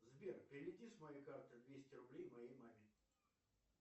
сбер переведи с моей карты двести рублей моей маме